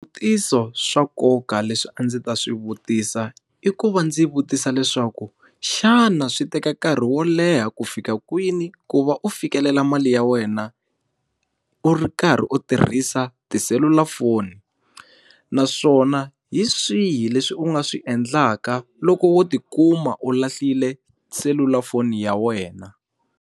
Swivutiso swa nkoka leswi a ndzi ta swi vutisa i ku va ndzi vutisa leswaku, xana swi teka nkarhi wo leha ku fika kwini ku va u fikelela mali ya wena u ri karhi u tirhisa tiselulafoni? Naswona hi swihi leswi u nga swi endlaka loko wo ti kuma u lahlile selulafoni ya wena?